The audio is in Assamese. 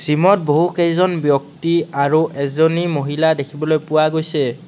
জিমত বহু কেইজন ব্যক্তি আৰু এজনী মহিলা দেখিবলৈ পোৱা গৈছে।